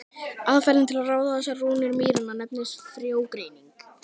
Aðferðin til að ráða þessar rúnir mýranna nefnist frjógreining.